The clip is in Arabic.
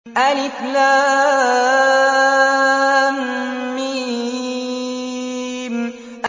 الم